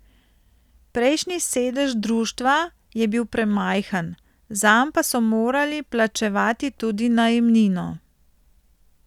Prejšnji sedež društva je bil premajhen, zanj pa so morali plačevati tudi najemnino.